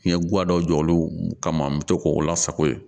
N ye guwɛri dɔ jɔ olu kama n bɛ to k'o lasago yen